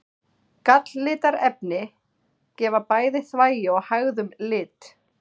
Galllitarefni gefa bæði þvagi og hægðum lit.